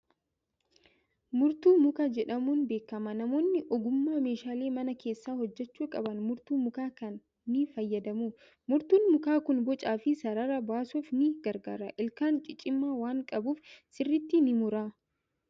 Murtuu mukaa jedhamuun beekama. Namoonni ogummaa meeshaalee mana keessaa hojjechuu qaban murtuu mukaa kana ni fayyadamu. Murtuun mukaa kun bocaa fi sarara baasuuf ni gargaara. Ilkaan ciccimaa waan qabuuf sirriitti ni mura.